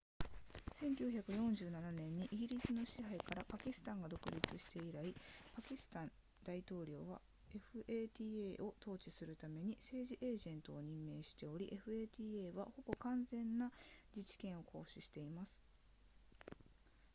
1947年にイギリスの支配からパキスタンが独立して以来パキスタン大統領は fata を統治するために政治エージェントを任命しており fata はほぼ完全な自治権を行使しています